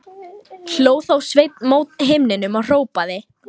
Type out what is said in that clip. Og ég álasa drottni, sagði Jón biskup.